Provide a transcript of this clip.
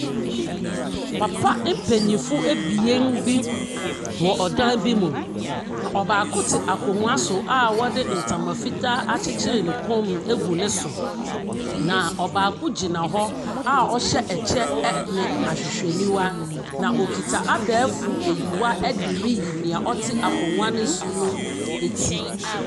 Papa mpanimfo abien bi wɔ ɔdan bi mu. Na ɔbaako te akonnwa so a wɔde ntama fitaa akyekyere ne kɔnmu egu ne so. Na ɔbaako gyina hɔ a ɔhyɛ kyɛ ne ahwehwɛniwa. Na okita abɛɛfo aniwa de reyi nea ɔte akonna no so no no ti.